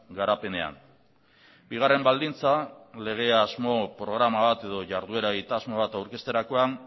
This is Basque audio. garapenean bigarren baldintza lege asmo programa bat edo jarduera egitasmo bat aurkezterakoan